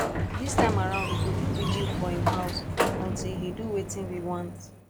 dis time around we go do vigil for im house until he do wetin we want